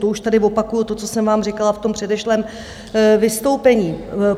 To už tady opakuji to, co jsem vám říkala v tom předešlém vystoupení.